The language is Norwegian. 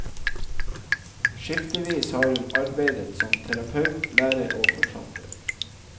Skiftevis har hun arbeidet som terapeut, lærer og forfatter.